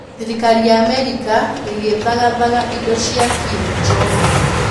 Thirikari ya Amerika ĩgĩthagathaga indo cia Kim Jong-un